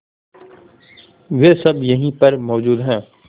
वे सब यहीं पर मौजूद है